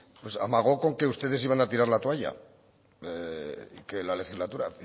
amagó con que ustedes iban a tirar la toalla y que la legislatura